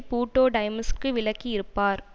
பூட்டோ டைம்ஸிற்கு விளக்கி இருப்பார்